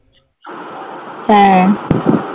হ্যাঁ